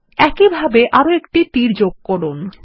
একই ভাবে আরো একটা তীর যোগ করুন